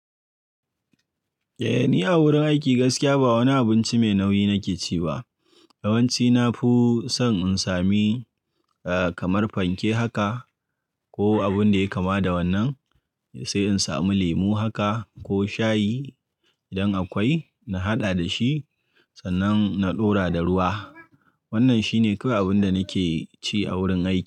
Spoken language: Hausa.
Eh, ni a wurin aiki gaskiya ba wani abinci mai nauyi nake ci ba. Yawanci na fi son in sami, eh, kamar fanke haka ko abun da yayi kama da wannan, sai in samu lemu haka ko shayi idan akwai, na haɗa da shi sannan na ɗora da ruwa. Wannan shine kawai abin da nake ci a wurin aiki.